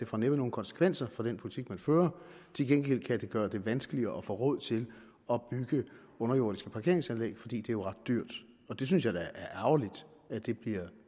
får nogen konsekvenser for den politik man fører til gengæld kan det gøre det vanskeligere at få råd til at bygge underjordiske parkeringsanlæg fordi det jo er ret dyrt og det synes jeg da er ærgerligt at det bliver